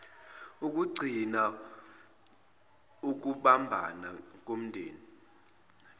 ukugcinas ukubumbana komndeni